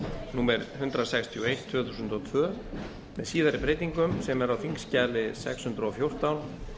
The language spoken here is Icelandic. númer hundrað sextíu og eitt tvö þúsund og tvö með síðari breytingum sem er á þingskjali sex hundruð og fjórtán